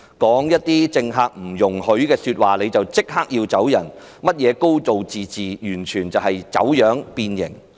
說一些政權不容許說的話便立即被逐離開，甚麼"高度自治"完全走樣變形。